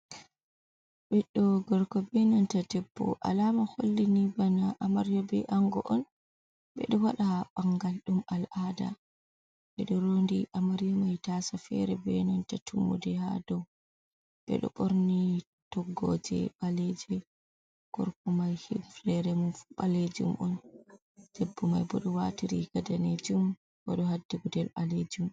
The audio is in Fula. Beddo gorko be nanta tebbo alama hollini bana amaryobe ango on bedo wada bangal dum al'ada bedo rondi amaryimai tasa fere be nanta tummudi ha do bedo borni toggoje baleji korgo mai hifnere mumfu balejum on debbu mai bo do wati Riga danemjum bo Odo haddi gudel balejum.